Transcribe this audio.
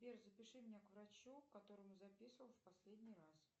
сбер запиши меня к врачу к которому записывал в последний раз